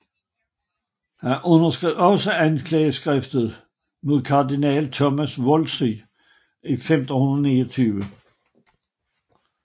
Han underskrev også anklageskriftet mod kardinal Thomas Wolsey i 1529